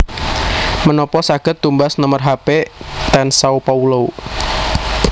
Menopo saged tumbas nomer hape ten Sao Paulo?